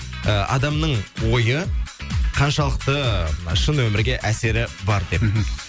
ы адамның ойы қаншалықты мына шын өмірге әсері бар деп мхм